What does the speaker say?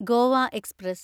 Goa express